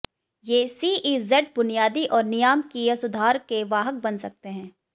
ये सीईजेड बुनियादी और नियामकीय सुधार के वाहक बन सकते हैं